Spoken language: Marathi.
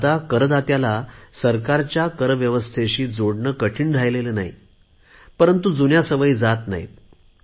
आता करदात्याला सरकारच्या कर व्यवस्थेशी जोडणे कठीण राहिले नाही परंतु जुन्या सवयी जात नाहीत